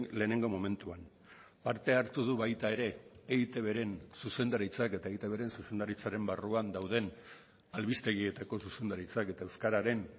lehenengo momentuan parte hartu du baita ere eitbren zuzendaritzak eta eitbren zuzendaritzaren barruan dauden albistegietako zuzendaritzak eta euskararen